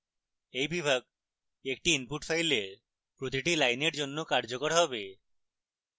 এই বিভাগ একটি input file প্রতিটি লাইনের জন্য কার্যকর হবে